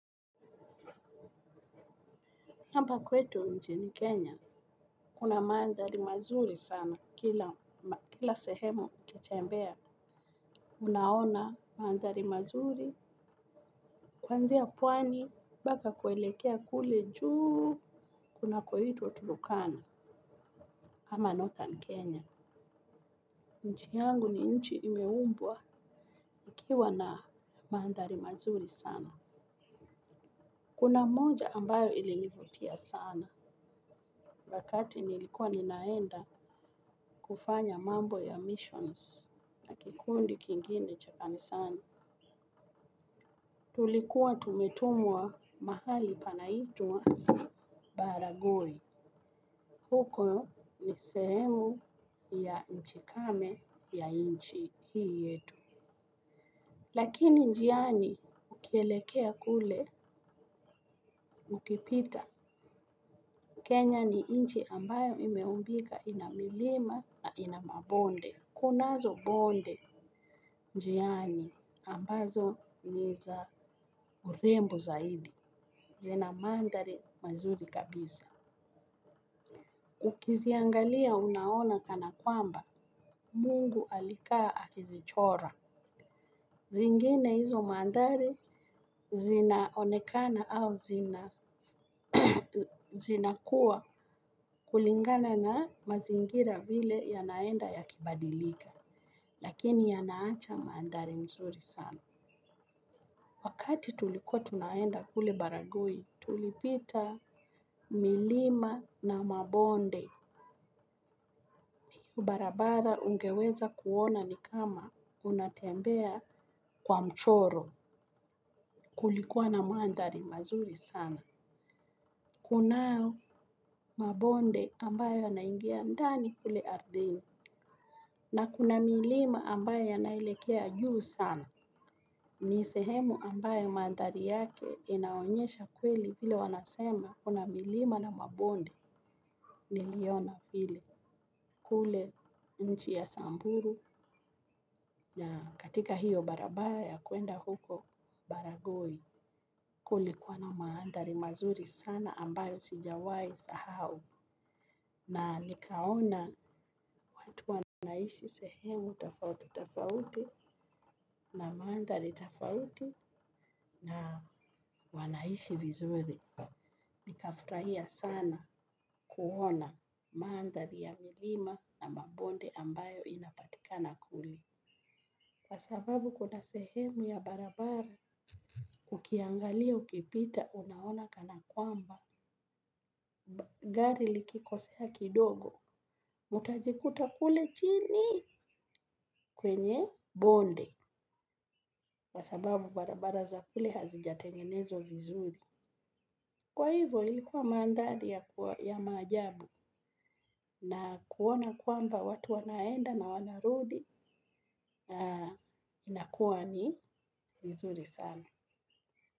Kwamba kwetu nchini Kenya, kuna mandhari mazuri sana, kila sehemu ukitembea. Unaona mandhari mazuri, kuanzia pwani, mpaka kuelekea kule juu, kunakoitwa turukana, ama northern Kenya. Nchi yangu ni nchi imeumbwa, ikiwa na mandhari mazuri sana. Kuna moja ambayo ilinivutia sana, wakati nilikuwa ninaenda kufanya mambo ya missions. La kikundi kingine cha kanisani. Tulikuwa tumetumwa mahali panaitwa Baragoi. Huko ni sehemu ya nchi kame ya nchi hii yetu. Lakini njiani ukielekea kule, ukipita. Kenya ni nchi ambayo imeumbika, ina milima na ina mabonde. Kunazo bonde njiani ambazo ni za urembo zaidi. Zina mandhari mazuri kabisa. Ukiziangalia unaona kana kwamba, mungu alikaa akizichora. Zingine hizo mandhari, zinaonekana au zina kuwa kulingana na mazingira vile yanaenda yakibadilika. Lakini yanaacha mandhari mzuri sana. Wakati tulikuwa tunaenda kule baragoi tulipita milima na mabonde kwa barabara ungeweza kuona ni kama unatembea kwa mchoro kulikuwa na mandhari mazuri sana. Kunao mabonde ambayo yanaingia ndani kule ardhini, na kuna milima ambayo yanaelekea juu sana. Ni sehemu ambaye mandhari yake inaonyesha kweli ile wanasema kuna milima na mabondi niliona hili kule nchi ya samburu na katika hiyo baraba ya kwenda huko baragoi kulikuwa na mandhari mazuri sana ambayo sijawahi sahau na nikaona watu wanaishi sehemu tofauti na mandhari tofauti na wanaishi vizuri. Nikafurahia sana kuona mandhari ya milima na mabonde ambayo inapatika na kule. Kwa sababu kuna sehemu ya barabara, ukiangalia ukipita unaona kana kwamba, gari likikosea kidogo, mutajikuta kule chini kwenye bonde. Kwa sababu barabara za kule hazijatengenezwa vizuri. Kwa hivyo ilikuwa mandhari ya maajabu na kuona kwamba watu wanaenda na wanarudi inakuwa ni nizuri sana.